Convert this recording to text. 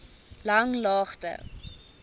langlaagte